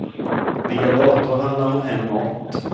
Via dator handlar hon hem mat.